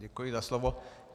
Děkuji za slovo.